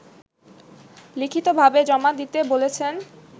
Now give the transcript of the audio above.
লিখিতভাবে জমা দিতে বলেছেন